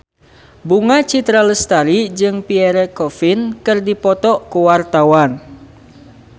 Bunga Citra Lestari jeung Pierre Coffin keur dipoto ku wartawan